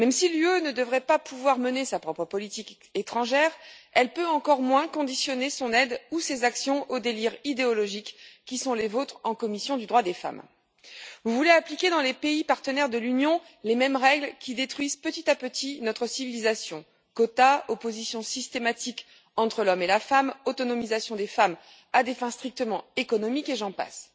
L'Union ne doit pas pouvoir mener sa propre politique étrangère et elle peut encore moins conditionner son aide ou ses actions aux délires idéologiques qui sont les vôtres en commission des droits de la femme et de l'égalité des genres. Vous voulez appliquer dans les pays partenaires de l'Union les mêmes règles qui détruisent petit à petit notre civilisation quotas, opposition systématique entre l'homme et la femme, autonomisation des femmes à des fins strictement économiques et j'en passe.